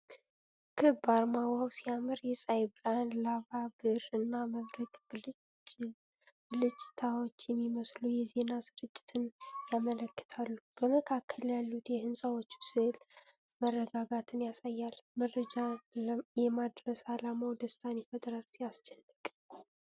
ክብ አርማ ዋው ሲያምር!። የፀሐይ ብርሃን፣ ላባ ብዕር እና መብረቅ ብልጭታዎች የሚመስሉ የዜና ስርጭትን ያመለክታሉ። በመካከል ያሉት የሕንፃዎቹ ስዕል መረጋጋትን ያሳያል። መረጃ የማድረስ ዓላማው ደስታን ይፈጥራል። ሲያስደንቅ!!